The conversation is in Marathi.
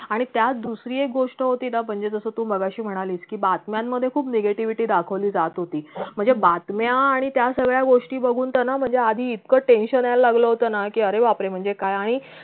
आणि त्यात दुसरी एक गोष्ट होती ना म्हणजे तू मगाशी म्हणालीस कि बातम्यान मधे खूप negativity दाखवली जात होती म्हणजे बातम्या आणि त्यासगळ्या गोष्टी बघून त ना म्हणजे आधी इतक tension येयला लागलं होत ना कि अरे बापरे म्हणजे काय आणि